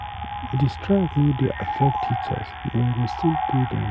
Di strike no dey affect teachers, dem go still pay dem.